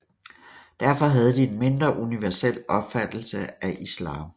Derfor havde de en mindre universel opfattelse af islam